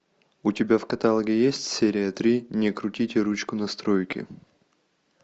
у тебя в каталоге есть серия три не крутите ручку настройки